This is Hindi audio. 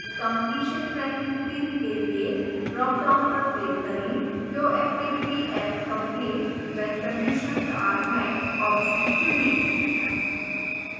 completion tracking field के लिए dropdown पर click करें show activity as complete when conditions are met option चुनें